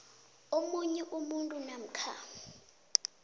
omunye umuntu namkha